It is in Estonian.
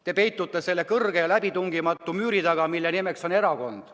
Te peitute selle kõrge ja läbitungimatu müüri taga, mille nimeks on erakond.